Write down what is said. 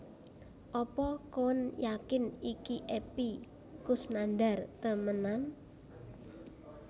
Apa koen yakin iki Epy Koesnandar temenan?